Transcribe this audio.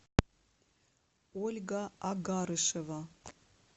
ольга агарышева